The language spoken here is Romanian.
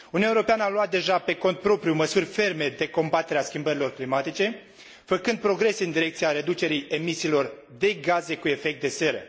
Uniunea Europeană a luat deja, pe cont propriu, măsuri ferme de combatere a schimbărilor climatice, făcând progrese în direcția reducerii emisiilor de gaze cu efect de seră.